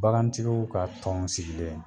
Bagantigiw ka tɔn sigilen